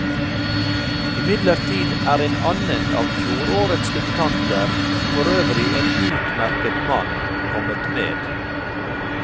Imidlertid er en annen av fjorårets debutanter, for øvrig en utmerket mann, kommet med.